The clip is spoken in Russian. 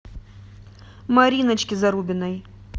мариночке зарубиной